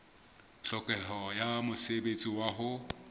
tlhokeho ya mosebetsi wa ho